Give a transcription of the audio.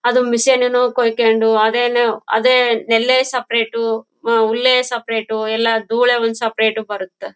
'' ಅದು ಮಿಷನ್ ಏನೋ ಕುಯಿಕೊಂಡು ಅದೇನೇ ನೆಲ್ಲೆ ಸೆಪೆರಟು ಹುಲ್ಲೇ ಸೆಪೆರಟು ಎಲ್ಲಾ ದೂಳೆ ಒಂದ್''''ಸೆಪೆರೇಟ್ ಬರುತ್ತೆ .''